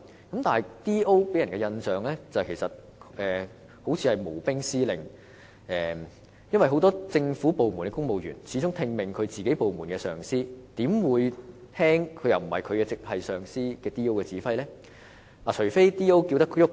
不過 ，DO 給人的印象是"無兵司令"，因為很多政府部門的公務員始終只聽命於自己部門的上司，而因 DO 並不是他們的直屬上司，他們又怎會遵從 DO 的指揮呢？